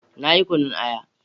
Na yi kunyun aya.